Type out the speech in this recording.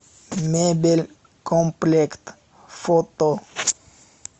мебель комплект фото